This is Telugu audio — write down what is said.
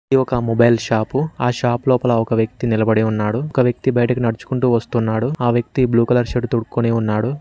ఇది ఒక మొబైల్ షాపు ఆ షాప్ లోపల ఒక వ్యక్తి నిలబడి ఉన్నాడు ఒక వ్యక్తి బయటకు నడుచుకుంటూ వస్తున్నాడు ఆ వ్యక్తి బ్లూ కలర్ షర్ట్ తొడుక్కుని ఉన్నాడు